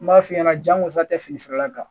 N b'a f'i ɲɛna jangosa tɛ fini la